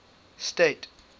state